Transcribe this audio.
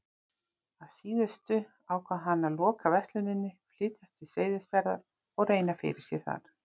Að síðustu ákvað hann að loka versluninni, flytjast til Seyðisfjarðar og reyna fyrir sér þar.